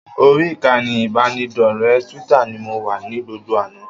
Orí ìkànnì ìbánidọ́rẹ̀ẹ́ Twitter ni mo wà ní gbogbo àná